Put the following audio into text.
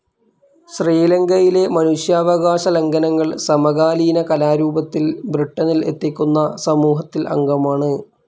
ശ്രീലങ്കയിലെ മനുഷ്യാവകാശ ലംഘനങ്ങൾ സമകാലീന കലാരൂപത്തിൽ ബ്രിട്ടനിൽ എത്തിക്കുന്ന സമൂഹത്തിൽ അംഗമാണ്.